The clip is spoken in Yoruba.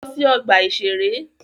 Lọ sí ọgbà-ìṣeré!